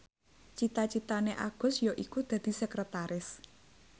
cita citane Agus yaiku dadi sekretaris